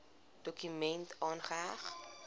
dokument aangeheg